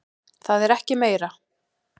Það er ekki meira.